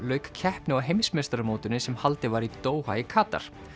lauk keppni á heimsmeistaramótinu sem haldið var í Doha í Katar